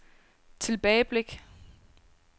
tilbageblik